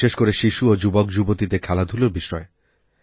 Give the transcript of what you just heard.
বিশেষ করে শিশু ও যুবকযুবতীদেরখেলাধূলার বিষয়ে